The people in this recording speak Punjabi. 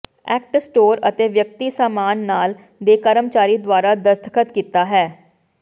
ਐਕਟ ਸਟੋਰ ਅਤੇ ਵਿਅਕਤੀ ਸਾਮਾਨ ਨਾਲ ਦੇ ਕਰਮਚਾਰੀ ਦੁਆਰਾ ਦਸਤਖਤ ਕੀਤਾ ਹੈ